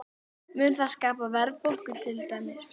Mun það skapa verðbólgu til dæmis?